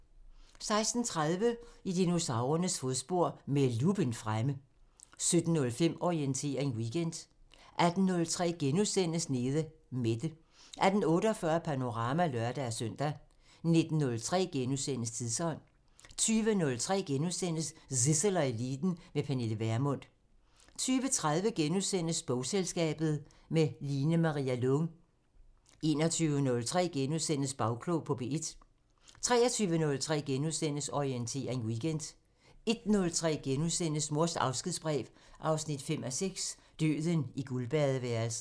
16:30: I dinosaurernes fodspor – med luppen fremme 17:05: Orientering Weekend 18:03: Nede Mette * 18:48: Panorama (lør-søn) 19:03: Tidsånd * 20:03: Zissel og Eliten: Med Pernille Vermund * 20:30: Bogselskabet – med Line-Maria Lång * 21:03: Bagklog på P1 * 23:03: Orientering Weekend * 01:03: Mors afskedsbrev 5:6 – Døden i guldbadeværelset *